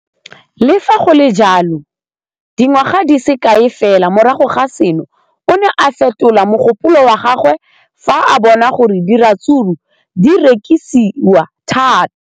Le fa go le jalo, dingwaga di se kae fela morago ga seno, o ne a fetola mogopolo wa gagwe fa a bona gore diratsuru di rekisiwa thata.